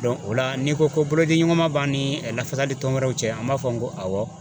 Dɔn o la n'i ko ko bolodiɲɔgɔn ma b'an ni lafasali tɔn wɛrɛw cɛ an b'a fɔ n ko awɔ